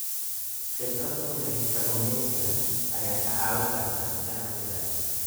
Khibrad u leh kalluumeysiga ayaa kaa caawin karta ganacsiga.